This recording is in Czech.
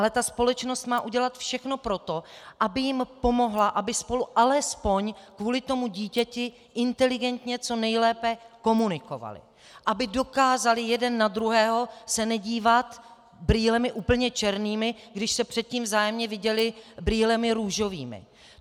Ale ta společnost má udělat všechno pro to, aby jim pomohla, aby spolu alespoň kvůli tomu dítěti inteligentně co nejlépe komunikovali, aby dokázali jeden na druhého se nedívat brýlemi úplně černými, když se předtím vzájemně viděli brýlemi růžovými.